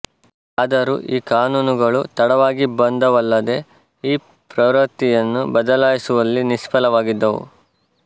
ಆದರೂ ಈ ಕಾನೂನುಗಳು ತಡವಾಗಿ ಬಂದವಲ್ಲದೇ ಈ ಪ್ರವೃತ್ತಿಯನ್ನು ಬದಲಾಯಿಸುವಲ್ಲಿ ನಿಷ್ಪಲವಾಗಿದ್ದವು